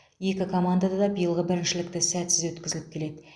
екі команда да биылғы біріншілікті сәтсіз өткізіп келеді